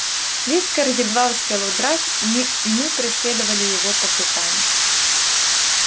вискард едва успел удрать и мы и мы преследовали его по пятам